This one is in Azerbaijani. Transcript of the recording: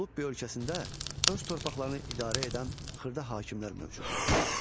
Lullubi ölkəsində öz torpaqlarını idarə edən xırda hakimlər mövcud idi.